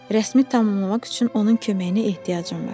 Rəsmi tamamlamaq üçün onun köməyinə ehtiyacım var.